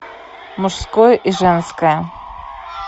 мужское и женское